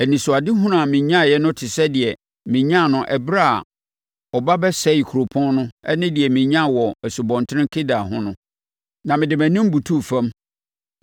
Anisoadehunu a menyaeɛ no te sɛ deɛ menyaa no ɛberɛ a ɔba bɛsɛee kuropɔn no ne deɛ menyaa wɔ Asubɔnten Kebar ho no, na mede mʼanim butuu fam.